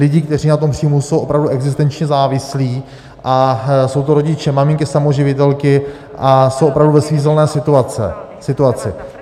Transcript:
Lidé, kteří na tom příjmu jsou opravdu existenčně závislí, a jsou to rodiče, maminky samoživitelky a jsou opravdu ve svízelné situaci.